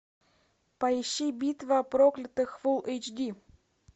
поищи битва проклятых фул эйч ди